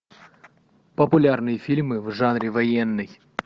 популярные фильмы в жанре военный